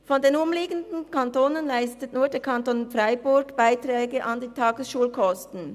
Von den umliegenden Kantonen leistet nur der Kanton Freiburg Beiträge an die Tagesschulkosten.